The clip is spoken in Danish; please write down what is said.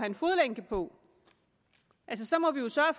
en fodlænke på så må vi jo sørge